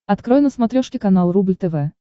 открой на смотрешке канал рубль тв